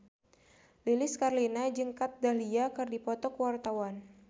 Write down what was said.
Lilis Karlina jeung Kat Dahlia keur dipoto ku wartawan